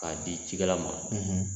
K'a di cikɛla ma